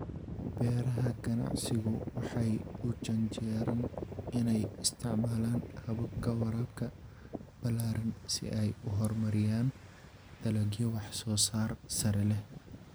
Beeraha ganacsigu waxay u janjeeraan inay isticmaalaan hababka waraabka ballaaran si ay u horumariyaan dalagyo wax-soosaar sare leh.